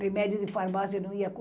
Remédio de farmácia não ia